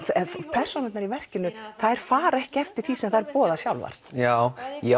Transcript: persónurnar í verkinum þær fara ekki eftir því sem þær boða sjálfar já ég